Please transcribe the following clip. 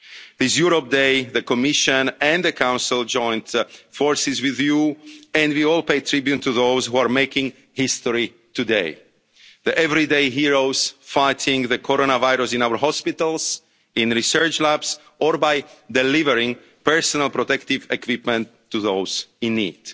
campaign. This Europe Day, the Commission and the Council joined forces with you, and we all pay tribute to those who are making history today, the everyday heroes fighting the coronavirus in our hospitals, in research labs, or by delivering personal protective equipment to